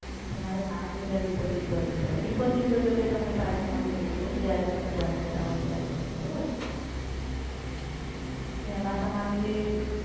તો તમારે પાંચ હજાર deposit ભરવી પડે. deposit તો જો કે તમને પાછી મળી જતી હોય જ્યારે તમે બંધ કરવો ત્યારે સર બરોબર છે? તો એમાં તમારું જે